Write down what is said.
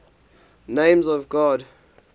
names of god